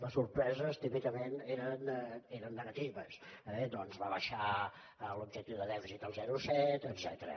les sorpreses típicament eren negatives doncs rebaixar l’objectiu de dèficit al zero coma set etcètera